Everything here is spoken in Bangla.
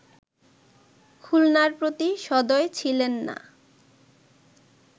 খুলনার প্রতি সদয় ছিলেননা”